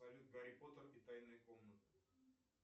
салют гарри поттер и тайная комната